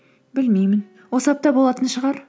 білмеймін осы апта болатын шығар